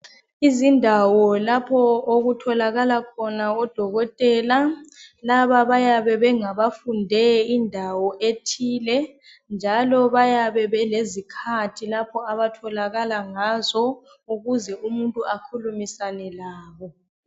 Izindawo lapho ukutholakala khona odokotela. Laba bayabe bengabafunde indawo ethile, njalo bayabe belezikathi lapho abatholakala ngazo ukuze umuntu akhulumisane labo.